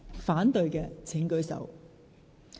反對的請舉手。